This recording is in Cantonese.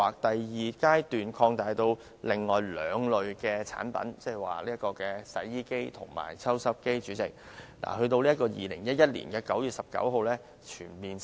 第二階段擴大至另外兩類產品，即洗衣機和抽濕機，在2011年9月19日才全面實施。